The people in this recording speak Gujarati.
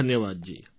ધન્યવાદજી